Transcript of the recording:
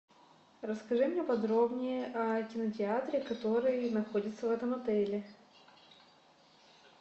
расскажи мне подробнее о кинотеатре который находится в этом отеле